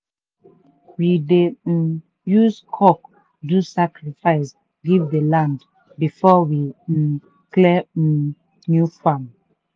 we dey um use cock do sacrifice give the land before we um clear um new farm.